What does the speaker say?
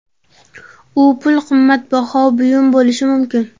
U pul, qimmatbaho buyum bo‘lishi mumkin.